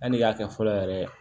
An'i y'a kɛ fɔlɔ yɛrɛ